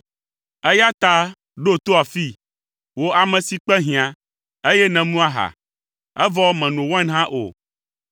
eya ta ɖo to afii, wò ame si kpe hiã, eye nèmu aha, evɔ mèno wain hã o.